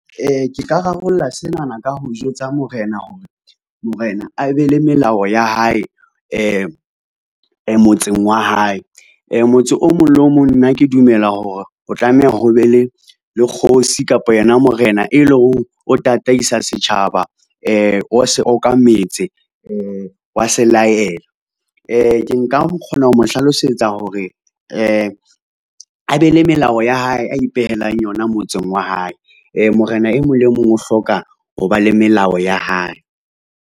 Ke ka rarollla senana ka ho jwetsa morena, hore morena a be le melao ya hae motseng wa hae motse o mong le o mong. Nna ke dumela hore o tlameha ho be le kgosi kapa yona morena e leng o tataisa setjhaba. O se okametse wa se laela. Ke nka kgona ho mo hlalosetsa hore a be le melao ya hae a ipehelang yona motseng wa hae. Morena e mong le e mong o hloka ho ba le melao ya hae.